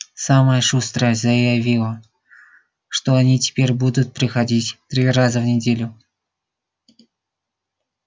самая шустрая заявила что они теперь будут приходить три раза в неделю